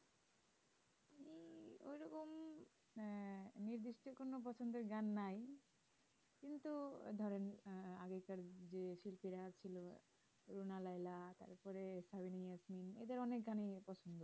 পছন্দের গান নাই কিন্তু ধরেন আহ আগেকার আগেকার যেই শিল্পীরা ছিল দ্রোনা লায়লা তারপরে ধরেন এদের অনিক গানই আমার পছন্দ